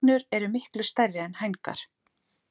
Hrygnur eru miklu stærri er hængar.